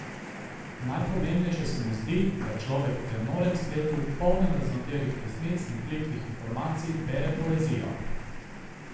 Najpomembnejše se mu zdi, da človek v tem norem svetu, polnem raznoterih resnic in plitvih informacij, bere poezijo.